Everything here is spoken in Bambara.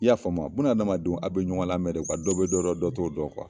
I y'a faamuya buna adamadenw aw bɛ ɲɔgɔn lamɛn de dɔ bɛ dɔ dɔn t'o dɔn